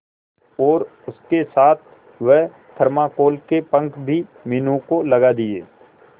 और उसके साथ वह थर्माकोल के पंख भी मीनू को लगा दिए